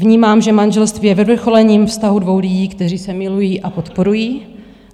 Vnímám, že manželství je vyvrcholením vztahu dvou lidí, kteří se milují a podporují.